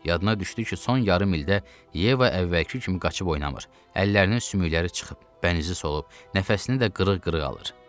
Yadına düşdü ki, son yarım ildə Yeva əvvəlki kimi qaçıb oynamır, əllərinin sümükləri çıxıb, bənizi solub, nəfəsini də qırıq-qırıq alır.